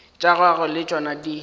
tša gagwe le tšona di